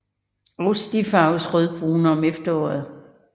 Også de farves rødbrune om efteråret